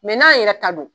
n'an yɛrɛ ta don